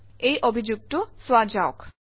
এই অভিযোগটো চোৱা যাওক